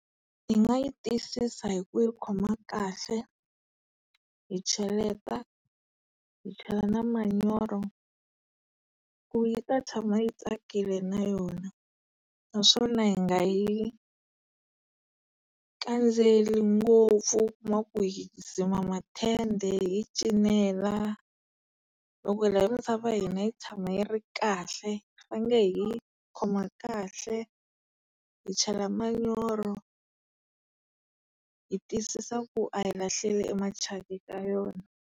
Hi nga yi tiyisisa hi ku yi khoma kahle, hi cheleta, hi chela na manyoro, ku yi ta tshama yi tsakakile na yona, naswona hi nga yi kandzeli ngopfu na ku hi dzima matende, hi yi cinela. Loko hi lava misava ya hini yi tshama yi ri kahle hi khoma kahle, hi chela manyoro, hi twisisa ku a hi lahleli e machaka eka yona.